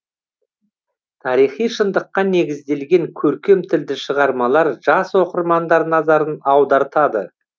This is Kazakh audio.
тарихи шындыққа негізделген көркем тілді шығармалар жас оқырмандар назарын аудартады